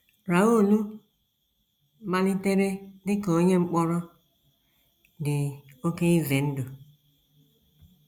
Raoul * malitere dị ka onye mkpọrọ dị oké ize ndụ.